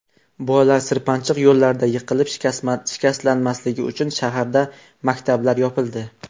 Bolalar sirpanchiq yo‘llarda yiqilib, shikastlanmasligi uchun shaharda maktablar yopildi.